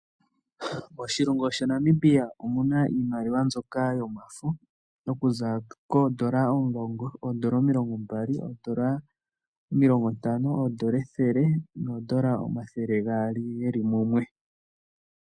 Moshilongo shaNamibia omu na iimaliwa mbyoka yomafo okuza koodola omulongo, oodola omilongombali, oodola omilongontano, oodola ethele noodola omathele gaali ge li mumwe.